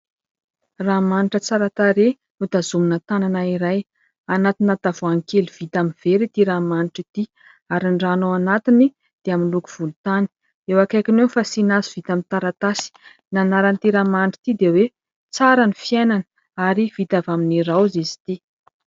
Ranomanitra tsara tarehy notazomina tanana iray, anatina tavoahangy kely vita amin'ny vera ity ranomanitra ity ary ny rano ao anatiny dia amin'ny loko volontany, eo akaikiny eo ny fasiana azy vita amin'ny taratasy, ny anaran'ity ranomanitra ity dia hoe : "Tsara ny fiainana" ary vita avy amin'ny raozy izy ity.